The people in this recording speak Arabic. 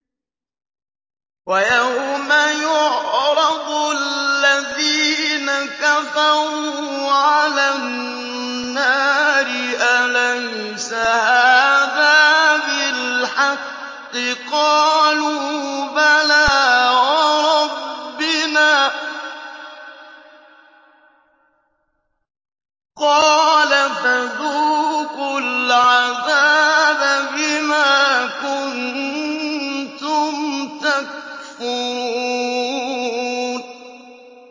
وَيَوْمَ يُعْرَضُ الَّذِينَ كَفَرُوا عَلَى النَّارِ أَلَيْسَ هَٰذَا بِالْحَقِّ ۖ قَالُوا بَلَىٰ وَرَبِّنَا ۚ قَالَ فَذُوقُوا الْعَذَابَ بِمَا كُنتُمْ تَكْفُرُونَ